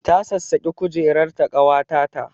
Ta sassaƙe kujerar ta ƙawata ta